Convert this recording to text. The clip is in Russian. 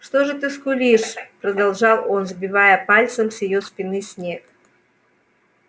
что же ты скулишь продолжал он сбивая пальцем с её спины снег